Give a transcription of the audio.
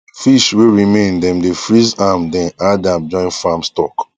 fish wey remain dem dey freeze am den add am join farm stock